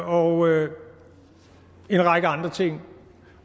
og en række andre ting